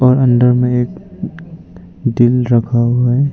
और अंदर में एक दिल रखा हुआ है।